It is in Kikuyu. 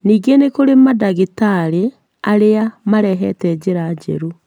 Ningĩ nĩ kũrĩ madagĩtarĩ arĩa marehete njĩra njerũ